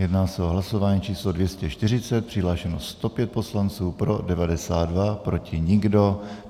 Jedná se o hlasování číslo 240, přihlášeno 105 poslanců, pro 92, proti nikdo.